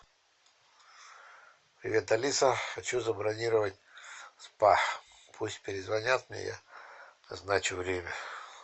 привет алиса хочу забронировать спа пусть перезвонят мне я назначу время